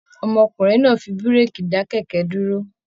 Ọmọkùnrin náà fí bureki dá kẹkẹ dúró.